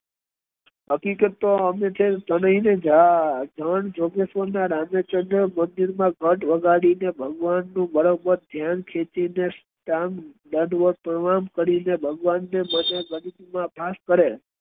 હકીકત તો અમે છે ને સંત જોગેશ ના રમેશચંદ્ર મંદિર માં ઘંટ વગાડી ને ભગવાન' નું બરોબર દયાન ખેંચી ને દંડવત પ્રણામ કરી ને ભગવાન મને ગણિત માં પાસ કરે